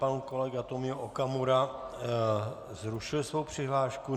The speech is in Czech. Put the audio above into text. Pan kolega Tomio Okamura zrušil svou přihlášku.